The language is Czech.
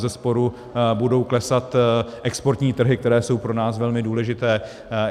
Bezesporu budou klesat exportní trhy, které jsou pro nás velmi důležité.